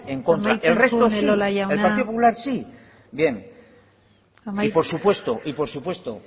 en contra el resto sí el partido popular sí y por supuesto